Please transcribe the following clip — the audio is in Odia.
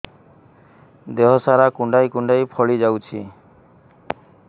ଦେହ ସାରା କୁଣ୍ଡାଇ କୁଣ୍ଡାଇ ଫଳି ଯାଉଛି